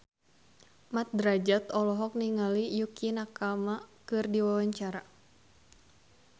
Mat Drajat olohok ningali Yukie Nakama keur diwawancara